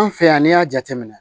An fɛ yan n'i y'a jateminɛ